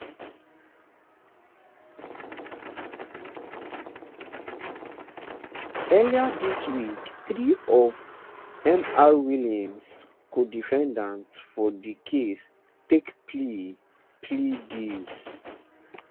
earlier dis week three of mr williams codefendants for di case take plea plea deals